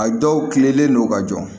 A dɔw kilenlen don ka jɔ